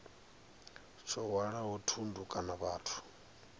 tsho hwalaho thundu kana vhathu